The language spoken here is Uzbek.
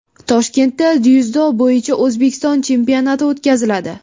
Toshkentda dzyudo bo‘yicha O‘zbekiston chempionati o‘tkaziladi.